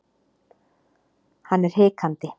Hann er hikandi.